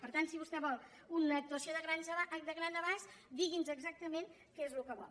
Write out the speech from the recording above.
per tant si vostè vol una actuació de gran abast digui’ns exactament què és el que vol